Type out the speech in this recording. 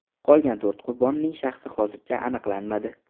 Qolgan to‘rt qurbonning shaxsi hozircha aniqlanmadi.